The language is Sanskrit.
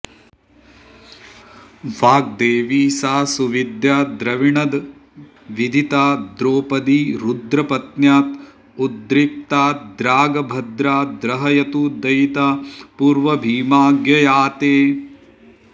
वाग्देवी सा सुविद्या द्रविणद विदिता द्रौपदी रुद्रपत्न्यात् उद्रिक्ताद्रागभद्रा द्रहयतु दयिता पूर्वभीमाज्ञयाते